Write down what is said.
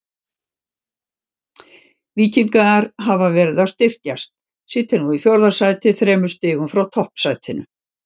Víkingar hafa verið að styrkjast, sitja nú í fjórða sæti þremur stigum frá toppsætinu.